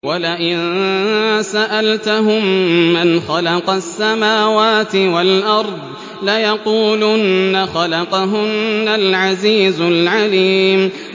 وَلَئِن سَأَلْتَهُم مَّنْ خَلَقَ السَّمَاوَاتِ وَالْأَرْضَ لَيَقُولُنَّ خَلَقَهُنَّ الْعَزِيزُ الْعَلِيمُ